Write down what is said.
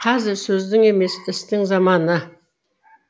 қазір сөздің емес істің заманы